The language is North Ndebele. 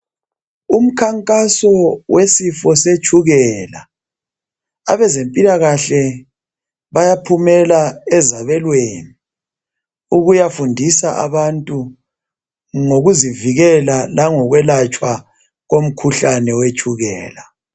Umkhankaso wesifo setshukela abezempilakahle bayaphumela ezabelweni ukuyafundisa abantu ngokuzivikela lango kwelatshwa komkhuhlane wetshukela.